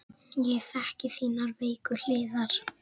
Ég þekki þínar veiku hliðar.